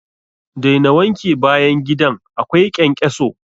Daina wanke bayan gidan akwai ƙenƙeso!